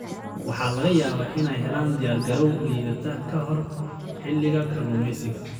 Waxaa laga yaabaa inay helaan diyaargarow liidata ka hor xilliga kalluumeysiga.